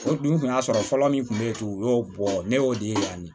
O dun kun y'a sɔrɔ fɔlɔ min kun be yen u y'o bɔ ne y'o de ye yani